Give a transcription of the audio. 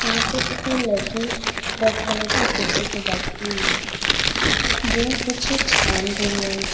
यहां पे एक लड़की रेड कलर की कुर्सी पे बैठी हुई है जो कुछ छान रही है।